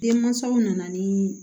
Denmansaw nana ni